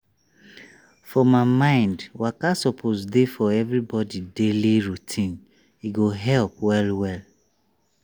for my mind waka suppose dey for everybody daily routine e go help well well.